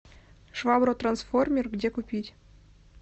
швабра трансформер где купить